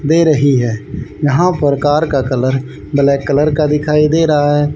दे रही है यहां पर कार का कलर ब्लैक कलर का दिखाई दे रहा है।